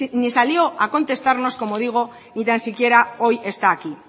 ni salió a contestarnos como digo ni tansiquiera hoy está aquí